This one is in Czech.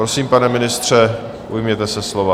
Prosím, pane ministře, ujměte se slova.